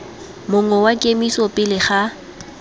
mongwe wa kemiso pele ga